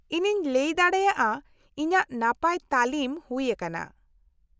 -ᱤᱧᱤᱧ ᱞᱟᱹᱭ ᱫᱟᱲᱮᱭᱟᱜᱼᱟ ᱤᱧᱟᱹᱜ ᱱᱟᱯᱟᱭ ᱛᱟᱹᱞᱤᱢ ᱦᱩᱭ ᱟᱠᱟᱱᱟ ᱾